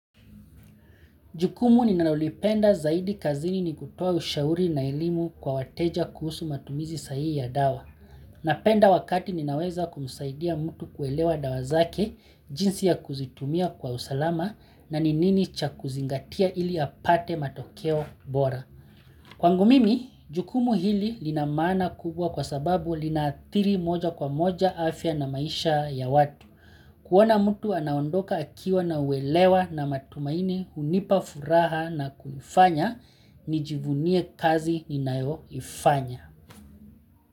Jukumu ninalolipenda zaidi kazini ni kutuoa ushauri na elimu kwa wateja kuhusu matumizi sahi ya dawa. Napenda wakati ninaweza kumsaidia mtu kuelewa dawa zake jinsi ya kuzitumia kwa usalama na ni nini cha kuzingatia ili apate matokeo bora. Kwangu mimi, jukumu hili lina maana kubwa kwa sababu linaathiri moja kwa moja afya na maisha ya watu. Kuona mtu anaondoka akiwa na uelewa na matumaini hunipa furaha nakufanya nijivunie kazi ninayoifanya.